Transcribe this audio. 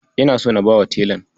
Ina so na bawa telan.